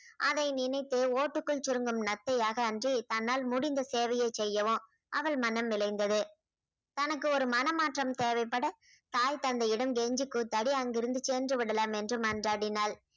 அதை நினைத்து ஓட்டுக்குள் சுருங்கும் நத்தையாக அன்றி தன்னால் முடிந்த சேவையை செய்யவும் அவள் மனம் விளைந்தது தனக்கு ஒரு மனமாற்றம் தேவைப்பட தாய் தந்தையிடம் கெஞ்சி கூத்தாடி அங்கிருந்து சென்று விடலாம் என்று மன்றாடினாள்